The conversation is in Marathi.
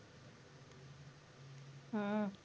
हम्म